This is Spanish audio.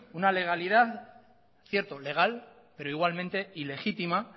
cierto legal pero igualmente ilegítima